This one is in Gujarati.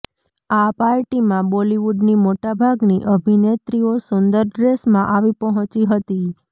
આ પાર્ટીમાં બોલિવૂડની મોટા ભાગની અભિનેત્રીઓ સુંદર ડ્રેસમાં આવી પહોંચી હતી